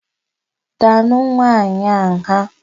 Daanụ nwaanyị a nha!